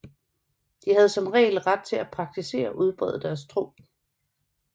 De havde som regel ret til at praktisere og udbrede deres tro